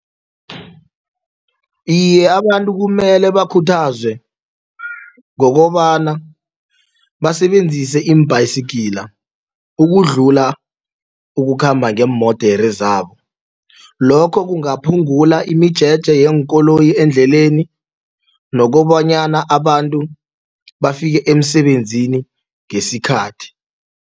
Iye, abantu kumele bakhuthazwe ngokobana basebenzise iimbhayisigila ukudlula ukukhamba ngeemodere zabo lokho kungaphungula imijeje yeenkoloyi endleleni nokobanyana abantu bafike emsebenzini ngesikhathi.